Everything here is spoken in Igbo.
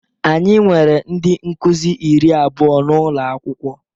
Anyị nwere ndị Nkụzi iri abụọ n'ụlọ akwụkwọ